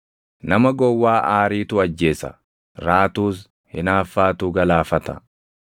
Nama gowwaa aariitu ajjeesa; raatuus hinaaffaatu galaafata.